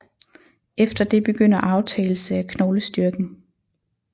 Efter det begynder aftagelse af knoglestyrken